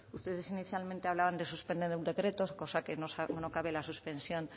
ustedes inicialmente hablaban de suspender el decreto cosa que no cabe la suspensión